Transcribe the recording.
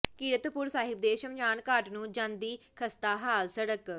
ਕੀਰਤਪੁਰ ਸਾਹਿਬ ਦੇ ਸ਼ਮਸ਼ਾਨਘਾਟ ਨੂੰ ਜਾਂਦੀ ਖ਼ਸਤਾ ਹਾਲ ਸੜਕ